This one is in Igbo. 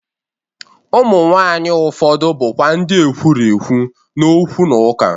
Ụmụ nwaanyị ụfọdụ bụkwa ndị ekwurekwu na okwu na ụka.